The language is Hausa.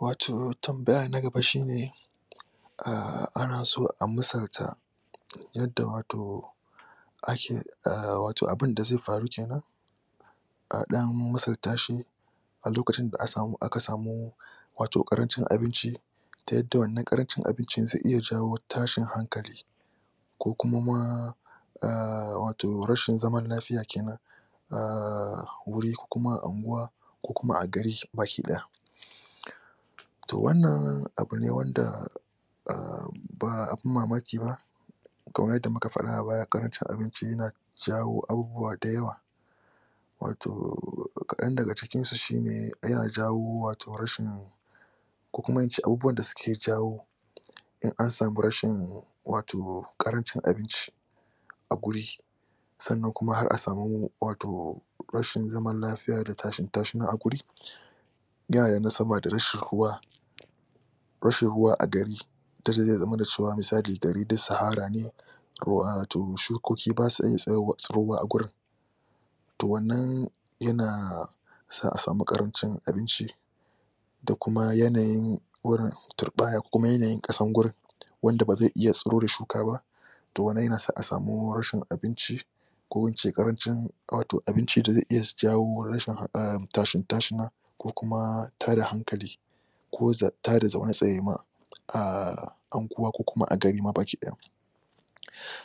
Wato tambaya na gaba shine, aahh ana so a misalta yadda wato wato abunda zai faru kenan a ɗan misalta shi a lokacin da aka samu wato ƙarancin abinci, ta yadda wannanƙarancin abincin zai iya jawo tashin hankali ko kuma ma aaahhh wato rashin zaman lafiya kenan, a wuri ko kuma a unguwa ko kuma a gari baki ɗaya. To wanna abu ne wanda aahh ba abun mamaki ba kamar yadda muka faɗa a baya yana jawo abubuwa da yawa. Wato.... kaɗan daga cikin su shine yana jawo wato rashin ko kuma in ce abubuwan da suke jawo in an sami rashin wato ƙarancin abinci a guri sannan kuma har a sami wato, rashin zaman lafiya da tashin tashina a wuri, yana da nasaba da rashin ruwa, rashin ruwa a gari, zai iya zama misali gari duk sahara ne wato shukoki ba sa iya tsawo a gurin to wannan yana sa a sami ƙarancin abinci, da kuma yanayin gurin, turɓayar kuma yanayin ƙasar gurin wanda ba zai iya tsiro da shuka ba, to wannan yana sa a sami rashin abinci, ko in ce ƙarancin abinci da zai iya jawo rashin ahhm tashin-tashina ko kuma tashin hankali. ko ta da zaune tsaye ma, a unguwa ko kuma a gari ma baki ɗaya.